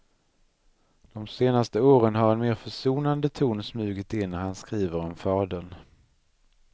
De senaste åren har en mer försonande ton smugit in när han skriver om fadern.